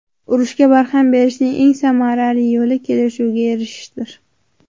Urushga barham berishning eng samarali yo‘li kelishuvga erishishdir.